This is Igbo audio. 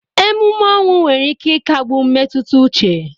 Ememe ọnwụ nwere ike ịkagbu mmetụta uche.